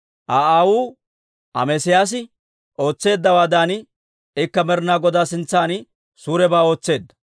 Aa aawuu Amesiyaasi ootseeddawaadan, ikka Med'inaa Godaa sintsan suurebaa ootseedda.